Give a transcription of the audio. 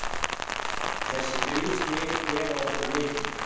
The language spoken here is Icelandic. Þessi þrjú stig gefa okkur mikið.